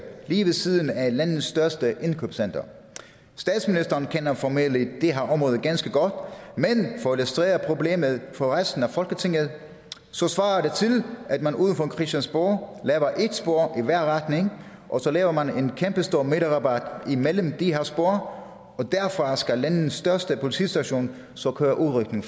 lige ved siden af landets største indkøbscenter statsministeren kender formentlig det her område ganske godt men for at illustrere problemet for resten af folketinget svarer det til at man ude foran christiansborg laver et spor i hver retning og så laver man en kæmpestor midterrabat imellem de her spor og derfra skal landets største politistation så køre udrykning